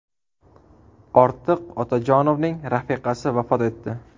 Ortiq Otajonovning rafiqasi vafot etdi.